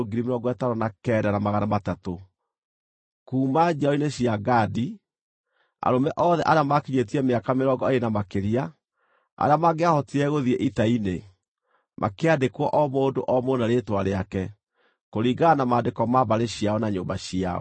Kuuma njiaro-inĩ cia Gadi: Arũme othe arĩa maakinyĩtie mĩaka mĩrongo ĩĩrĩ na makĩria, arĩa mangĩahotire gũthiĩ ita-inĩ, makĩandĩkwo o mũndũ o mũndũ na rĩĩtwa rĩake, kũringana na maandĩko ma mbarĩ ciao na nyũmba ciao.